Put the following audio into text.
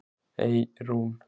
Eyrún